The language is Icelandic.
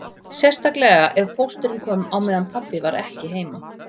Sérstaklega ef pósturinn kom á meðan pabbi var ekki heima